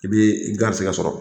I bi i garisigɛ sɔrɔ